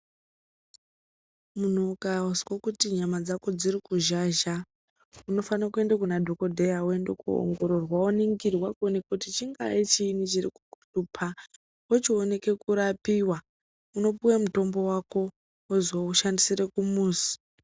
Muntu ukazwe kuti nyama dzako dzirikuzhazha unofane kuenda kunadhogodheya voenda koongororwa voningirwa kuti chingaa chiini chirikukushupa. Vochioneke kurapiwa unopuve mutombo vako vozoushandisire kumuzi.